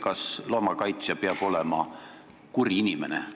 Kas loomakaitsja peab olema kuri inimene?